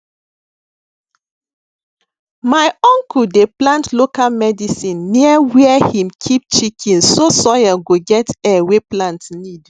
my uncle dey plant local medicine near where him keep chicken so soil go get air wey plant need